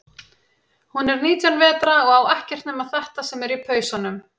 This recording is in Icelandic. Hún er nítján vetra og á ekkert nema þetta sem er í pausanum.